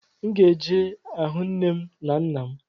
M ga-eje ahụ nne m na nna m